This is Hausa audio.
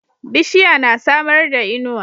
Bishiya na samarda inuwa